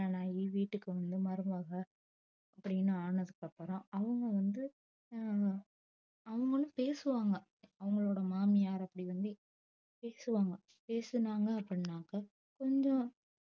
கல்யாணம் ஆகி வீட்டுக்கு வந்த மருமக அப்டின்னு ஆனதுக்கு அப்புறம் அவுங்க வந்து அஹ் அவுங்களும் பேசுவாங்க அவுங்களோட மாமியார் அப்டி வந்து பேசுவாங்க பேசுனாங்க அப்டினக்கா